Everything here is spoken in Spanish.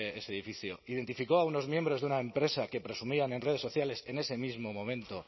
ese edificio identificó a unos miembros de una empresa que presumían en redes sociales en ese mismo momento